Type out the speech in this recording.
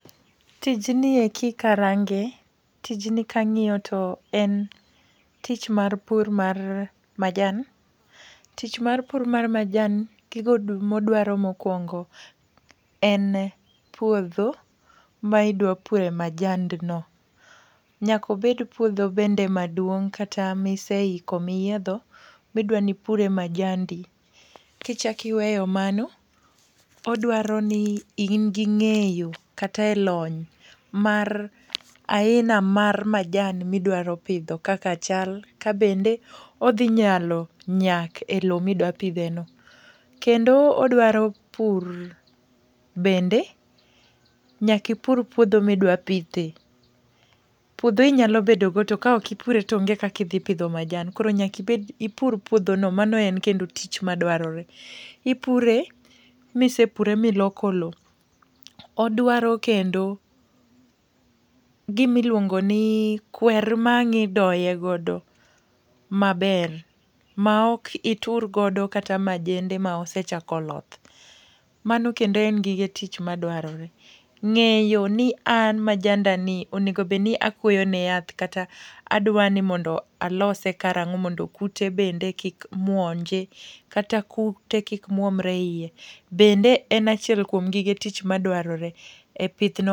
Tijni eki karange, tijni kang'iyo to en tich mar pur mar majan. Tich mar pur mar majan, gigo modwaro mokuongo en puodho maidwa pure majand no. Nyaka obed puodho bende maduong' kata miseiko miyiedho midwa nipure majandi. Kichako iweyo mano, odwaro ni in gi ng'eyo kata elony mar aina mar majan ma idwaro pidho kaka chal kabende odhi nyalo nyak elowo ma intiereno. Kendo odwaro pur bende nyaka ipur puodho ma idwa pithe. Puodho inyalo bedogo to kaok ipure toonge kaka idhi pidho majan koro nyaka ibed ipur puodhono mano en kendo tich madwarore. Ipure misepure ma iloko lowo. Odwaro kendo gima iluongo ni kwer ma ang' idoye godo maber maok itur godo kata majende ma osechako loth. Mano kendo gige tich madwarore. Ng'eyo ni an majandani onego obed ni akuoyo ne yath kata adwa ni mondo alose karang'o mondo kute bende kik monje kata kute kik muomre iye, bende en achiel kuom gige tich madwarore e pithno